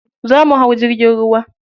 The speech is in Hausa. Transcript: Za mu hau jirgin ruwa.